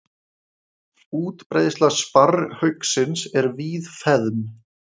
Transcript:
Útbreiðsla sparrhauksins er víðfeðm.